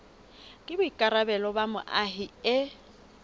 ke boikarabelo ba moahi e